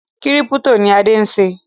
Kírípítò ni Adé ń ṣe